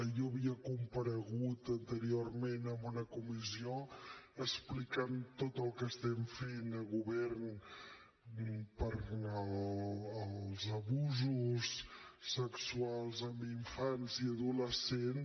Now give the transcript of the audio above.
jo havia comparegut anteriorment en una comissió explicant tot el que estem fent a govern pels abusos sexuals en infants i adolescents